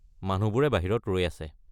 মানুহবোৰে বাহিৰত ৰৈ আছে।